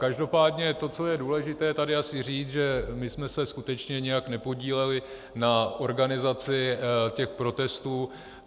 Každopádně to, co je důležité tady asi říct, že my jsme se skutečně nijak nepodíleli na organizaci těch protestů.